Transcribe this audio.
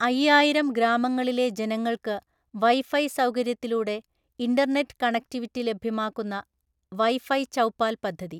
അയ്യായിരം ഗ്രാമങ്ങളിലെ ജനങ്ങള്‍ക്ക് വൈഫൈ സൗകര്യത്തിലൂടെഇന്റര്നെറ്റ്കണക്ടിവിറ്റി ലഭ്യമാക്കുന്ന വൈ ഫൈചൗപ്പാല്‍ പദ്ധതി.